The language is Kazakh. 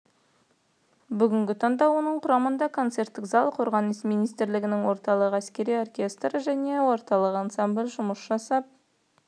бүгінгі таңда оның құрамында концерттік зал қорғаныс министрлігінің орталық әскери оркестрі және орталық ансамблі жұмыс жасап